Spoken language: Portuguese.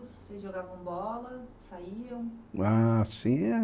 vocês jogavam bola, saíam? Ah, tinha